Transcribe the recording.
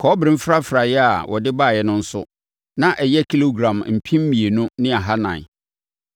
Kɔbere mfrafraeɛ a wɔde baeɛ no nso, na ɛyɛ kilogram mpem mmienu ne ahanan (2,400).